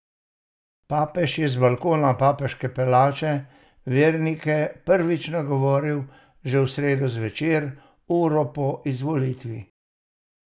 Papež je z balkona papeške palače vernike prvič nagovoril že v sredo zvečer, uro po izvolitvi.